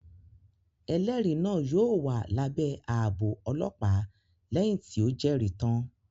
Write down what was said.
Ẹlẹri náà yóò wà lábé ààbò ọlọpa lẹhin ti o Jeri tan